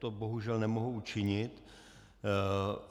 To bohužel nemohu učinit.